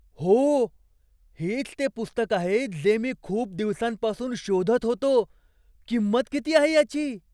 हो! हेच ते पुस्तक आहे जे मी खूप दिवसांपासून शोधत होतो. किंमत किती आहे याची?